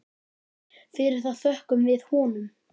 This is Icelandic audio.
Fyrir það þökkum við honum.